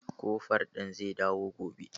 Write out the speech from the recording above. Koforal ɗin zai dawo gobe.